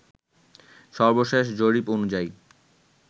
সর্বশেষ জরিপ অনুযায়ী